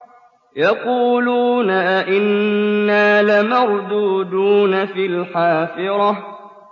يَقُولُونَ أَإِنَّا لَمَرْدُودُونَ فِي الْحَافِرَةِ